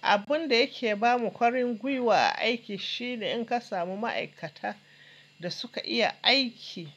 Abun da yake ba mu ƙwarin gwiwa a aiki shi ne in ka samu ma'aikata da su ka iya aiki,